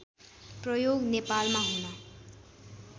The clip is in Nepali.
प्रयोग नेपालमा हुन